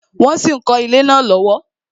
Wọn sì ń kọ ilé náà lọ́wọ́